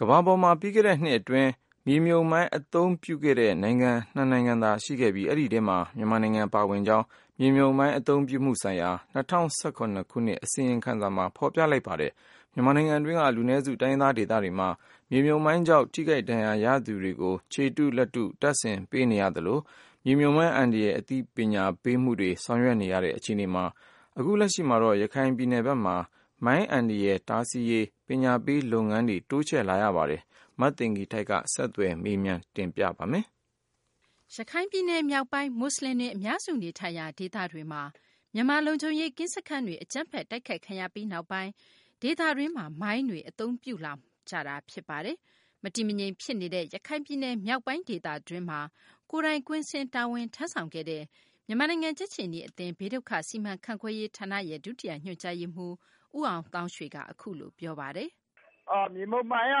ကမ္ဘာပေါ်မှာ ပြီးခဲ့တဲ့နှစ် အတွင်း မြေမြုပ်မိုင်း အသုံးပြုခဲ့တဲ့ နိုင်ငံ ၂ သာရှိခဲ့ပြီး အဲဒီထဲမှာ မြန်မာနိုင်ငံ ပါဝင်ကြောင်း မြေမြုပ်မိုင်း အသုံးပြုမှုဆိုင်ရာ ၂၀၁၇ ခုနှစ် အစီရင်ခံစာက ဖော်ပြလိုက်ပါတယ်။ မြန်မာနိုင်ငံတွင်းက လူနည်းစု တိုင်းရင်းဒေသတွေမှာ မြေမြုပ်မိုင်းကြောင့် ထိခိုက်ဒဏ်ရာ ရသူတွေကို ခြေတုလက်တု တပ်ဆင်ပေးနေကြရဆဲ၊ မြေမြုပ်မိုင်း အန္တရာယ် အသိပညာပေးမှုတွေ ဆောင်ရွက်နေရတဲ့ အခြေအနေမှာ အခုလက်ရှိမှာတော့ ရခိုင်ပြည်နယ်ဘက်မှာပါ မိုင်းအန္တရာယ် တားဆီးရေး ပညာပေး လုပ်ငန်းတွေ တိုးချဲ့လာပါတယ်။ မသိင်္ဂ ီထိုက် ဆက်သွယ်မေးမြန်းထားပါတယ်။ ရခိုင်ပြည်နယ် မြောက်ပိုင်း မူဆလင်တွေ အများစု နေထိုင်ရာဒေသတွေမှာ မြန်မာလုံခြုံရေး ကင်းစခန်းတွေ အကြမ်းဖက် တိုက်ခိုက်ခံခဲ့ပြီးနောက်ပိုင်း ဒေသတွင်းမှာ မိုင်းတွေ အသုံးပြုလာကြတာပါ။ မတည်မငြိမ်ဖြစ်နေတဲ့ ရခိုင်ပြည်နယ် မြောက်ပိုင်း ဒေသတွင်းမှာ ကိုယ်တိုင်ကွင်းဆင်း တာဝန်ထမ်းဆောင်ခဲ့တဲ့ မြန်မာနိုင်ငံ ကြက်ခြေနီအသင်း ဘေးဒုက္ခ စီမံခန့်ခွဲရေး ဌာနရဲ့ ဒုတိယ ညွှန်ကြားရေးမှူး ဦးအောင်သောင်းရွှေက ပြောပါတယ်။ "မြေမြှုပ်မိုင်းက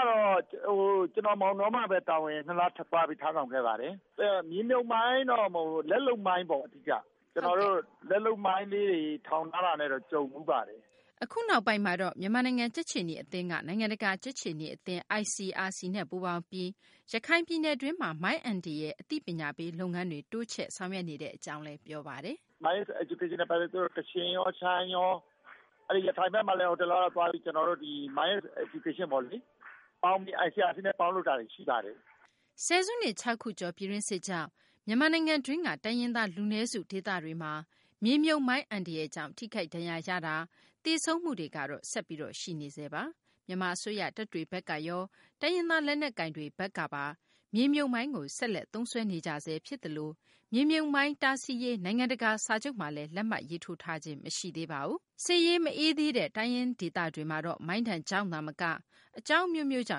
တော့ မောင်တောမှာ ကျနော် တာဝန် နှစ်လ ထမ်းဆောင်ခဲ့ပါတယ်။ မြေမြှုပ်မိုင်းတော့မဟုတ်ဘူး လက်လုပ်မိုင်းပေါ့ လက်လုပ်မိုင်းတွေ ထောင်ထားတာနဲ့တော့ ကျနော်တို့ ကြုံဖူးပါတယ်။" အခုနောက်ပိုင်းမှာတော့ မြန်မာနိုင်ငံ ကြက်ခြေနီ အသင်းက နိုင်ငံတကာ ကြက်ခြေနီအသင်း ICRC နဲ့ ပူးပေါင်းပြီး ရခိုင်ပြည်နယ်တွင်းမှာ မိုင်းအန္တရာယ် အသိပညာပေးလုပ်ငန်းတွေ တိုးချဲ့ ဆောင်ရွက်နေကြောင်းလည်း ပြောပါတယ်။ " မိုင်း Education ပညာပေးနဲ့ကတော့ ကချင်ရော ရှမ်းရော အဲ့ဒီ့ရခိုင်ဘက်မှာလည်း တလောက ကျနော်တို့ သွားပြီးတော့ မိုင်း Education ပေါ့လေ ICRC နဲ့ ပေါင်းလုပ်တာတွေရှိပါတယ်။" ဆယ်စုနှစ် ၆ ခုကျော် ပြည်တွင်းစစ်ကြောင့် မြန်မာနိုင်ငံတွင်းက တိုင်းရင်းသား လူနည်းစု ဒေသတွေမှာ မြေမြုပ်မိုင်းအန္တရာယ်ကြောင့် ထိခိုက်ဒဏ်ရာရမှု၊ သေဆုံးမှုတွေကတော့ ဆက်ပြီး ရှိနေဆဲပါ။ မြန်မာ အစိုးရတပ်တွေဘက်ကရော တိုင်းရင်းသား လက်နက်ကိုင်တွေဘက်ကပါ မြေမြုပ်မိုင်းကို ဆက်လက် သုံးစွဲနေကြဆဲ ဖြစ်သလို မြေမြုပ်မိုင်း တားဆီးရေး နိုင်ငံတကာ စာချုပ်မှာလည်း လက်မှတ်ရေးထိုးခြင်း မရှိသေးပါဘူး။ စစ်ရေး မအေးသေးတဲ့ တိုင်းရင်းဒေသတွေမှာတော့ မိုင်းဒဏ်ကြောင့်သာမက အကြောင်း အမျိုးမျိုးကြော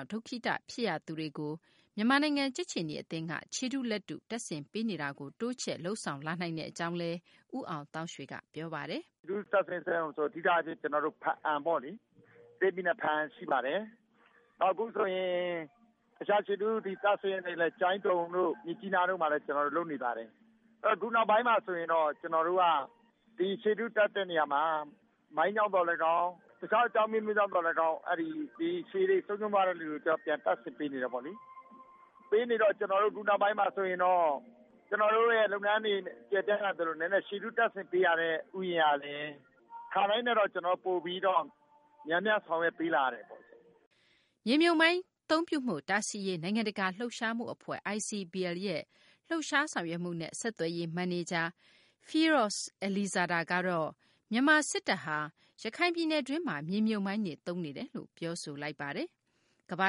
င့် ဒုက္ခိတ ဖြစ်ကြရသူတွေကို မြန်မာနိုင်ငံ ကြက်ခြေနီ အသင်းက ခြေတု လက်တု တပ်ဆင်ပေးတာကို တိုးချဲ့ လုပ်ဆောင်လာနိုင်တဲ့ အကြောင်းလည်း ဦးအောင်သောင်းရွှေက ပြောပါတယ်။ " အဓိကအားဖြင့်တော့ ဘားအံပေါ့လေ ကရင်ပြည်နယ် ဘားအံရှိပါတယ် အခုဆိုရင် တခြားခြေတုတပ်ဆင်တာကိုလည်း ကျိုင်းတုံတို့ မြစ်ကြီးနားတို့မှာလည်း လုပ်နေပါတယ် အခုနောင်ပိုင်းမှာတော့ ဒီခြေတုတပ်တဲ့နေရာမှာ မိုင်းကြောင့်သော်လည်းကောင်း တခြားအကြောင်းအမျိုးမျိုးကြောင့်သော်လည်းကောင်း ခြေတွေဆုံးရှုံးသွားတဲ့သူတွေကို ပြန်တပ်ဆင်ပေးနေတယ်ပေါ့လေ။ ပေးနေတော့ အခုနောက်ပိုင်းမှာဆိုရင်တော့ ကျနော်တို့ရဲ့ လုပ်ငန်းတွေ ကျယ်ပြန့်လာသလို ခြေတုတပ်ဆင်ပေးရတဲ့ ဦးရေကလည်း ခါတိုင်းထက်တော့ ပိုပြီးတော့ များများဆောင်ရွက်ပေးလာရတယ်ပေါ့။ " မြေမြုပ်မိုင်း အသုံးပြုမှု တားဆီးရေး နိုင်ငံတကာ လှုပ်ရှားမှု အဖွဲ့ ICBL ရဲ့ လှုပ်ရှားဆောင်ရွက်မှုနဲ့ ဆက်သွယ်ရေး မန်နေဂျာ Firoz Alizada ကတော့ မြန်မာ စစ်တပ်ဟာ ရခိုင်ပြည်နယ်တွင်းမှာ မြေမြုပ်မိုင်းတွေ သုံးနေတယ်လို့ ပြောဆိုပါတယ်။ ကမ္ဘာ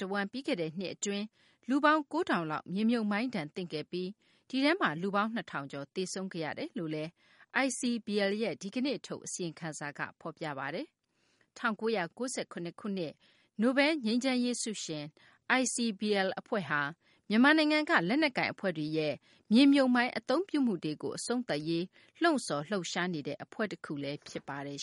တဝန်း ပြီးခဲ့တဲ့နှစ်အတွင်း လူပေါင်း ၉ ထောင်လောက် မြေမြုပ်မိုင်းဒဏ်သင့်ခဲ့ပြီး ဒီထဲမှာ လူပေါင်း ၂ ထောင်ကျော် သေဆုံးခဲ့ရတယ်လို့လည်း ICBL ရဲ့ ဒီကနေ့ ထုတ်တဲ့ အစီရင်ခံစာမှာ ဖော်ပြပါတယ်။ ၁၉၉၇ ခုနှစ် နိုဘဲလ်ငြိမ်းချမ်းရေးဆုရှင် ICBL အဖွဲ့ဟာ မြန်မာနိုင်ငံက လက်နက်ကိုင် အဖွဲ့တွေရဲ့ မြေမြှုပ်မိုင်းအသုံးပြုမှုတွေကို အဆုံးသတ်ရေး လှုံ့ဆော်လှုပ်ရှားနေတဲ့ အဖွဲ့တခုလည်း ဖြစ်ပါတယ်